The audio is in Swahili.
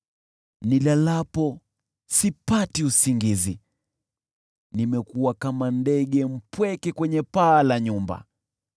Nilalapo sipati usingizi, nimekuwa kama ndege mpweke kwenye paa la nyumba.